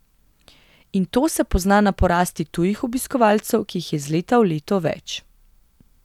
In to se pozna na porasti tujih obiskovalcev, ki jih je iz leta v leto več.